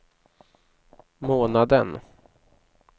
månaden